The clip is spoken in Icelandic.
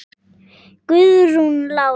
Guðrún Lára.